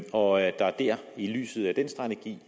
og at der her i lyset af den strategi